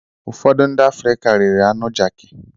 Ụfọdụ ndị Afrịka riri anụ jaki.